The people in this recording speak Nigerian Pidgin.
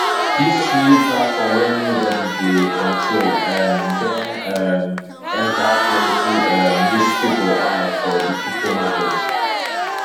dis new platform wey nobody dey control um don um enter plenty um rich pipo eye for di crypto market